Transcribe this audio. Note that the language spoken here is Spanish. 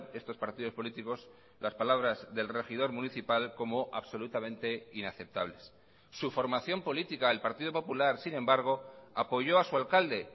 estos partidos políticos las palabras del regidor municipal como absolutamente inaceptables su formación política el partido popular sin embargo apoyó a su alcalde